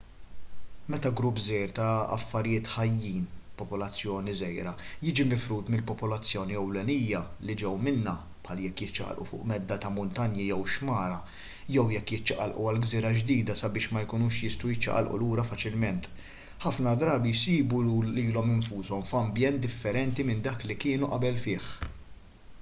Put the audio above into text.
meta grupp żgħir ta' affarijiet ħajjin popolazzjoni żgħira jiġi mifrud mill-popolazzjoni ewlenija li ġew minnha bħal jekk jiċċaqalqu fuq medda ta' muntanji jew xmara jew jekk jiċċaqalqu għal gżira ġdida sabiex ma jkunux jistgħu jiċċaqalqu lura faċilment ħafna drabi jsibu lilhom infushom f'ambjent differenti minn dak li kienu fih qabel